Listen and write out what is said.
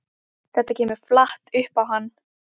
Þetta kemur flatt upp á hann.